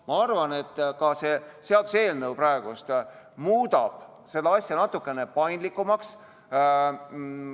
Ma arvan, et ka see seaduseelnõu muudab seda asja natukene paindlikumaks.